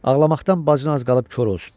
Ağlamaqdan bacın az qalıb kor olsun.